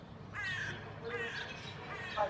Hann var raunsær maður.